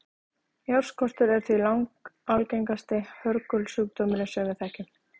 járnskortur er því langalgengasti hörgulsjúkdómurinn sem við þekkjum